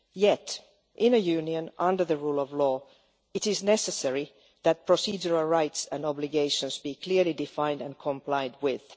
Yet, in a Union under the rule of law, it is necessary that procedural rights and obligations be clearly defined and complied with.